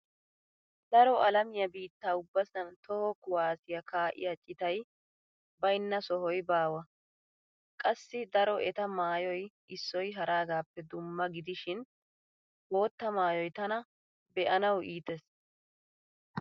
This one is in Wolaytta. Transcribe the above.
Daro alamiya biitta ubbasan toho kuwaassiya kaa'iya citay baynna sohay baawa. Qassi daro eta maayoy issoy haragaappe dumma gidishin bootta maayoy tana be'anawu iitees.